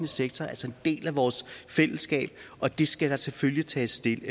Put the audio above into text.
sektor altså en del af vores fællesskab og det skal der selvfølgelig tages stilling